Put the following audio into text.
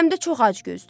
Həm də çox acgözdür.